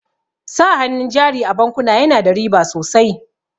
Sa hannun jari a bankuna yana da riba sosai.